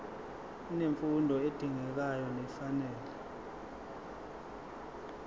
unemfundo edingekayo nefanele